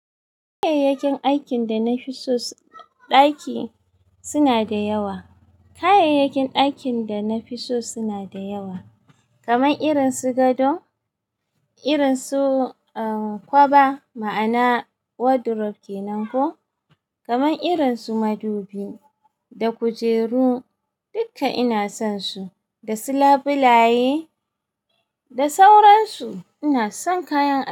Kayayyakin aikin da na fi so ɗaki suna da yawa. Kayayyakin dakin da na fi so suna da yawa, kamar irin su gado, irin su, ah, kwaba, ma'ana wardrobe kenan ko, kamar irin su madubi da kujeru. Duka ina son su, da su labulaye da sauransu. Ina son kayan aiki.